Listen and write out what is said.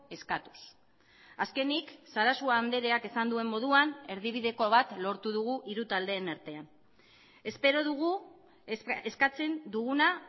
eskatuz azkenik sarasua andreak esan duen moduan erdibideko bat lortu dugu hiru taldeen artean espero dugu eskatzen duguna